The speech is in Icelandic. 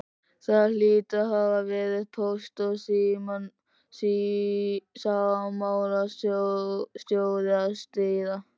Það hlýtur að hafa verið póst- og símamálastjóri að stríða!